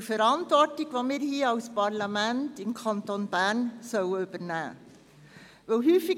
Zur Verantwortung, die wir hier als Parlament im Kanton Bern übernehmen sollen.